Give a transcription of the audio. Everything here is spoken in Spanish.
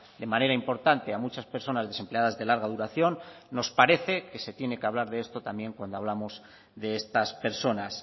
de manera importante a muchas personas desempleadas de larga duración nos parece que se tiene que hablar de esto también cuando hablamos de estas personas